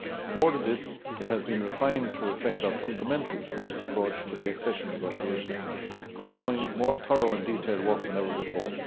More than this, it has been refined to reflect our fundamentals first' approach to the accession negotiations, allowing more thorough and detailed work than ever before.